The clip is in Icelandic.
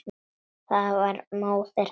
Það var móðir hennar.